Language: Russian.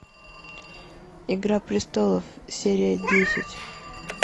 игра престолов серия десять